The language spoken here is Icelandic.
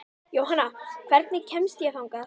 Jónanna, hvernig kemst ég þangað?